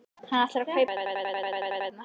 Ljóð hans fjalla oft um íslenska náttúru.